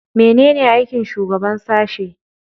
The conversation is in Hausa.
Menene aikin shugaban sashe?